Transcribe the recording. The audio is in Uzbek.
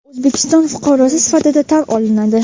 u O‘zbekiston fuqarosi sifatida tan olinadi.